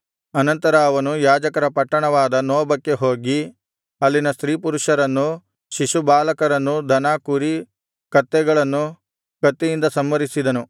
ಅನಂತರ ಅವನು ಯಾಜಕರ ಪಟ್ಟಣವಾದ ನೋಬಕ್ಕೆ ಹೋಗಿ ಅಲ್ಲಿನ ಸ್ತ್ರೀಪುರುಷರನ್ನೂ ಶಿಶುಬಾಲಕರನ್ನೂ ದನ ಕುರಿ ಕತ್ತೆಗಳನ್ನು ಕತ್ತಿಯಿಂದ ಸಂಹರಿಸಿದನು